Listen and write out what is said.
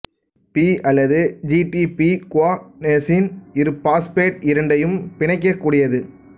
B அல்லது G D P குவானோசின் இருபாஸ்பேட் இரண்டையும் பிணைக்கக்கூடியது